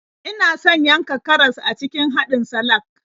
Ina son yanka karas a cikin haɗin salak.